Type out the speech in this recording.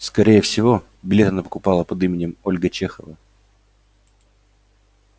скорее всего билет она покупала под именем ольга чехова